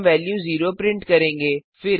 हम value 0 print करेंगे